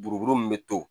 Buruburu min bɛ to